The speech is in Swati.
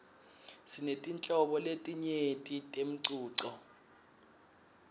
sinetinhlobo letinyenti temcuco